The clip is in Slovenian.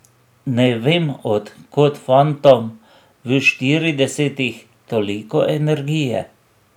Ne vem, od kod fantom v štiridesetih toliko energije.